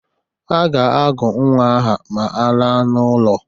Ha ga-agụ nnwa aha ma alaa n'ụlọ.